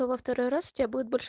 во второй раз у тебя будет больше